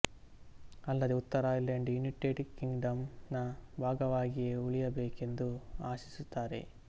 ಅಲ್ಲದೇ ಉತ್ತರ Ireland United Kingdom ನ ಭಾಗವಾಗಿಯೇ ಉಳಿಯಬೇಕೆಂದು ಆಶಿಸುತ್ತಾರೆ